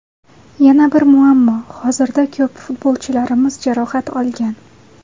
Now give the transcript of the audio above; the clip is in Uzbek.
Yana bir muammo hozirda ko‘p futbolchilarimiz jarohat olgan.